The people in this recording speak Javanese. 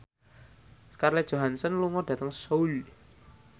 Scarlett Johansson lunga dhateng Seoul